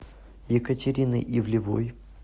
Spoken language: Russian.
екатерины ивлевой